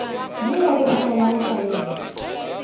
yo re bolelago ka yena